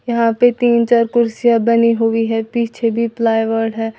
यहां पे तीन चार कुर्सियां बनी हुई है पीछे भी प्लाईवुड है।